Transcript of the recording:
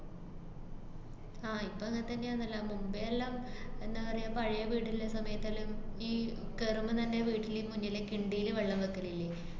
ആഹ് ഇപ്പ അങ്ങത്തന്നെയാന്നല്ലാ. മുമ്പെയെല്ലാം എന്ന പറയാ, പഴേ വീട്ള്ള സമയത്തെല്ലാം ഈ കേറുമ്പത്തന്നെ വീട്ടില് മുന്നിലെ കിണ്ടീല് വെള്ളം വക്കലില്ലേ?